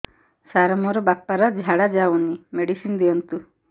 ସାର ମୋର ବାପା ର ଝାଡା ଯାଉନି ମେଡିସିନ ଦିଅନ୍ତୁ